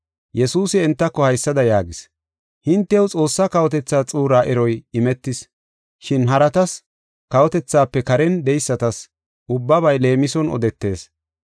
Yesuusi entako haysada yaagis: “Hintew Xoossaa kawotethaa xuuraa eroy imetis. Shin haratas kawotethaafe karen de7eysatas ubbabay leemison odetees.